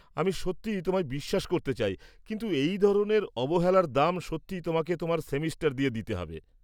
আমি সত্যিই তোমায় বিশ্বাস করতে চাই, কিন্তু এই ধরনের অবহেলার দাম সত্যিই তোমাকে তোমার সেমেস্টার দিয়ে দিতে হবে।